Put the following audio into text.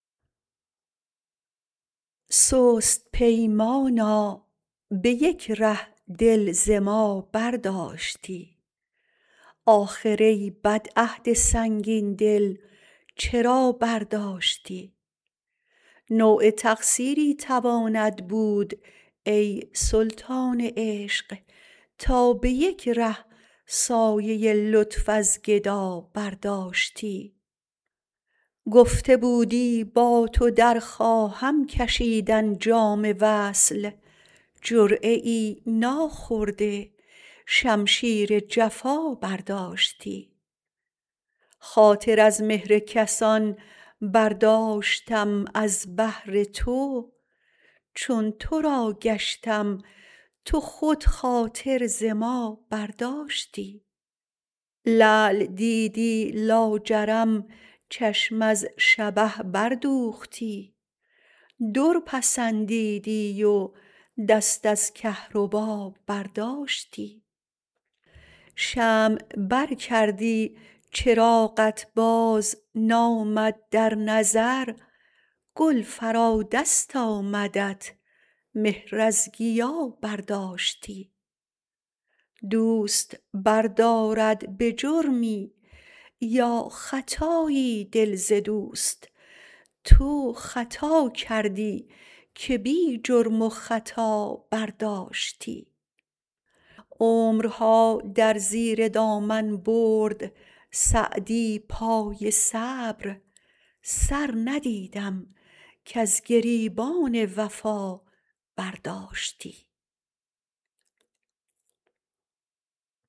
سست پیمانا به یک ره دل ز ما برداشتی آخر ای بد عهد سنگین دل چرا برداشتی نوع تقصیری تواند بود ای سلطان عشق تا به یک ره سایه لطف از گدا برداشتی گفته بودی با تو در خواهم کشیدن جام وصل جرعه ای ناخورده شمشیر جفا برداشتی خاطر از مهر کسان برداشتم از بهر تو چون تو را گشتم تو خود خاطر ز ما برداشتی لعل دیدی لاجرم چشم از شبه بردوختی در پسندیدی و دست از کهربا برداشتی شمع بر کردی چراغت بازنامد در نظر گل فرا دست آمدت مهر از گیا برداشتی دوست بردارد به جرمی یا خطایی دل ز دوست تو خطا کردی که بی جرم و خطا برداشتی عمرها در زیر دامن برد سعدی پای صبر سر ندیدم کز گریبان وفا برداشتی